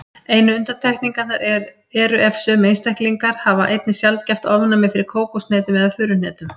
Einu undantekningarnar eru ef sömu einstaklingar hafa einnig sjaldgæft ofnæmi fyrir kókoshnetum eða furuhnetum.